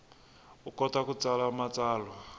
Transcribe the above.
u kota ku tsala matsalwa